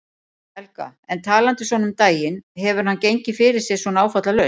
Helga: En talandi svona um daginn, hefur hann gengið fyrir sig svona áfallalaust?